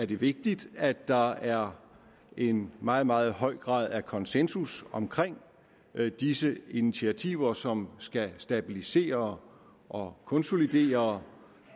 det vigtigt at der er en meget meget høj grad af konsensus omkring disse initiativer som skal stabilisere og konsolidere